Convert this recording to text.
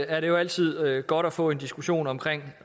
at det jo altid er godt at få en diskussion om